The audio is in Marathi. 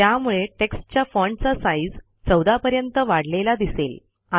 त्यामुळे टेक्स्टच्या फाँटचा साईज 14 पर्यंत वाढलेला दिसेल